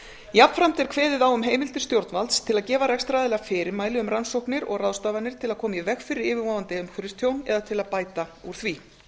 jafnframt er kveðið á um heimildir stjórnvalds til að gefa rekstraraðila fyrirmæli um rannsóknir og ráðstafanir til að koma í veg fyrir yfirvofandi umhverfistjón eða til að bæta úr því